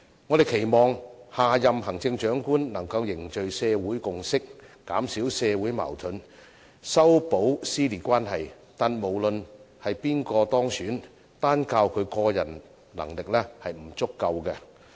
我們期望下任行政長官能夠凝聚社會共識，減少社會矛盾，修補撕裂關係，但無論是誰當選，單靠他個人能力是不足夠的。